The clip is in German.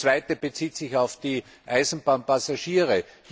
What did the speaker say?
Die zweite bezieht sich auf die Eisenbahnpassagiere.